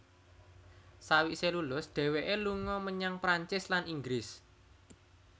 Sawise lulus dheweke lunga menyang Prancis lan Inggris